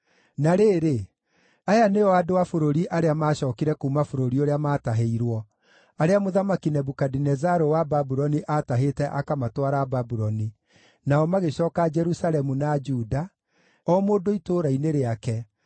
Na rĩrĩ, aya nĩo andũ a bũrũri arĩa maacookire kuuma bũrũri ũrĩa maatahĩirwo, arĩa Mũthamaki Nebukadinezaru wa Babuloni aatahĩte akamatwara Babuloni (nao magĩcooka Jerusalemu na Juda, o mũndũ itũũra-inĩ rĩake,